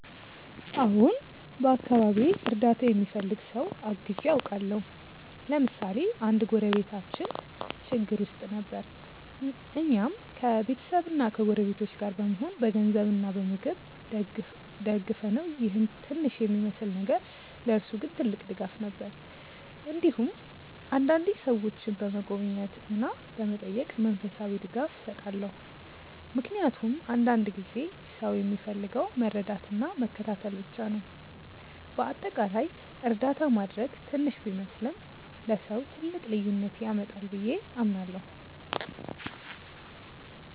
አዎን፣ በአካባቢዬ እርዳታ የሚፈልግ ሰው አግዤ አውቃለሁ። ለምሳሌ አንድ ጎረቤታችን ችግር ውስጥ ጊዜ ነበር፣ እኛም ከቤተሰብና ከጎረቤቶች ጋር በመሆን በገንዘብ እና በምግብ ደገፍነው ይህ ትንሽ የሚመስል ነገር ለእርሱ ግን ትልቅ ድጋፍ ነበር። እንዲሁም አንዳንዴ ሰዎችን በመጎብኘት እና በመጠየቅ መንፈሳዊ ድጋፍ እሰጣለሁ፣ ምክንያቱም አንዳንድ ጊዜ ሰው የሚፈልገው መረዳትና መከታተል ብቻ ነው። በአጠቃላይ እርዳታ ማድረግ ትንሽ ቢመስልም ለሰው ትልቅ ልዩነት ያመጣል ብዬ አምናለሁ።